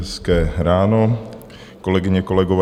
Hezké ráno, kolegyně, kolegové.